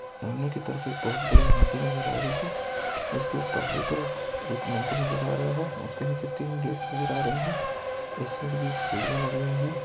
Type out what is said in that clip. सामने के तरफ एक बहुत बड़ी नदी नजर आ रही है। इसके पहली तरफ एक मंदिर नजर आ रहा है उसके नीचे तीन गेट नजर आ रहे है इस साइड भी सीढियां लगी हुई है।